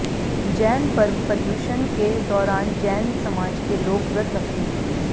जैन पर्व पर्युषन के दौरान जैन समाज के लोग व्रत रखते हैं